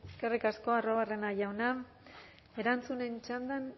eskerrik asko arruabarrena jauna erantzunen txandan